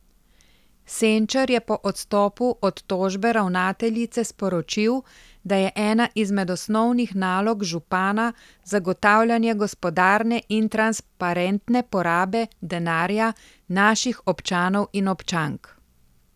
Senčar je po odstopu od tožbe ravnateljice sporočil, da je ena izmed osnovnih nalog župana zagotavljanje gospodarne in transparentne porabe denarja naših občanov in občank.